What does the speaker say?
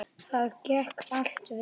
Það gekk allt vel.